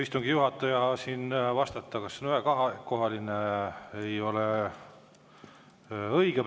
Istungi juhatajal siin vastata, kas on ühe- või kahe, ei ole praegu õige.